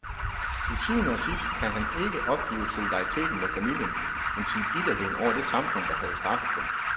Til syvende og sidst kan han ikke opgive solidariteten med familien, endsige bitterheden over det samfund, der havde straffet dem.